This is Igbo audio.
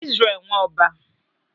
Izrel Nwọba